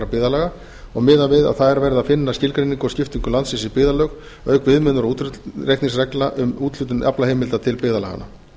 byggðarlaga og miðað við að þar verði að finna skilgreiningu og skiptingu landsins í byggðarlög auk viðmiðunar og útreikningsreglna um úthlutun aflaheimilda til byggðarlaganna